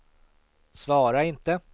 svara inte